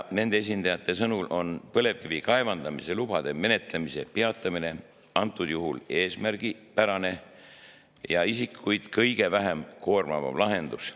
Nende esindajate sõnul on põlevkivi kaevandamise lubade menetlemise peatamine kõnealusel juhul eesmärgipärane ja isikuid kõige vähem koormavam lahendus.